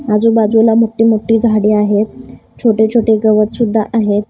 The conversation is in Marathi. आजूबाजूला मोठी मोठी झाडे आहेत छोटे छोटे गवत सुद्धा आहेत.